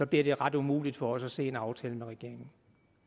bliver det ret umuligt for os at se en aftale med regeringen